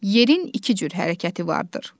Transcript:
Yerin iki cür hərəkəti vardır.